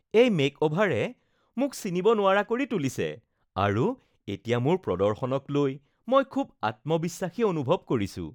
এই মেকঅভাৰে মোক চিনিব নোৱাৰা কৰি তুলিছে আৰু এতিয়া মোৰ প্ৰদৰ্শনক লৈ মই খুব আত্মবিশ্বাসী অনুভৱ কৰিছো